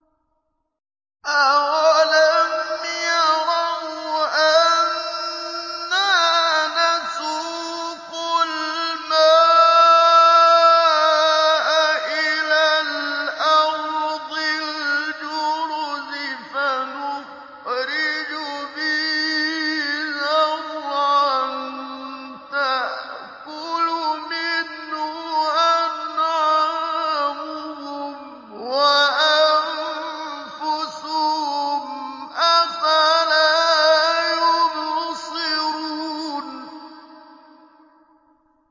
أَوَلَمْ يَرَوْا أَنَّا نَسُوقُ الْمَاءَ إِلَى الْأَرْضِ الْجُرُزِ فَنُخْرِجُ بِهِ زَرْعًا تَأْكُلُ مِنْهُ أَنْعَامُهُمْ وَأَنفُسُهُمْ ۖ أَفَلَا يُبْصِرُونَ